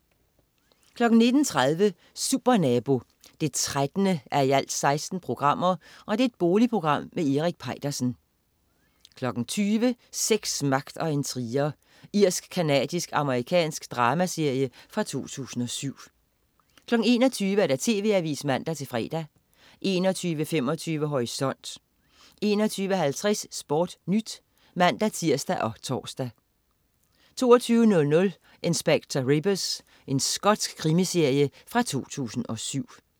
19.30 Supernabo 13:16. Boligprogram med Erik Peitersen 20.00 Sex, magt og intriger. Irsk-canadisk-amerikansk dramaserie fra 2007 21.00 TV Avisen (man-fre) 21.25 Horisont 21.50 SportNyt (man-tirs og tors) 22.00 Inspector Rebus. Skotsk krimiserie fra 2007